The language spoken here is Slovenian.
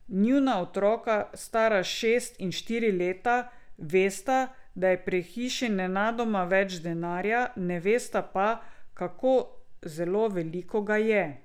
Njuna otroka, stara šest in štiri leta, vesta, da je pri hiši nenadoma več denarja, ne vesta pa, kako zelo veliko ga je.